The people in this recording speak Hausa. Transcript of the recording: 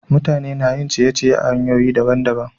Mutane na yin abin ciye-ciye a'hanyoyi dabban-dabban.